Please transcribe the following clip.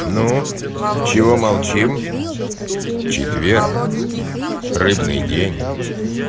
ну чего молчим четверг рыбный день